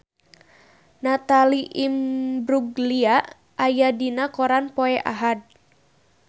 Natalie Imbruglia aya dina koran poe Ahad